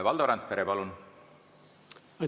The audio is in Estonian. Valdo Randpere, palun!